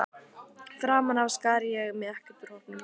Framan af skar ég mig ekkert úr hópnum.